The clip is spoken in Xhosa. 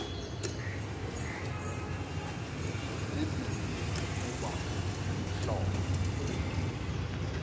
zimbini ukuba umhlobo